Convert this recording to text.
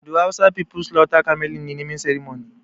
Do hausa people slaughter camel in a naming ceremony?